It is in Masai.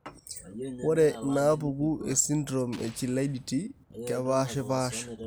Ore inaapuku esindirom eChilaiditi kepaashipaasha.